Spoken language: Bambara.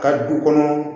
Ka du kɔnɔ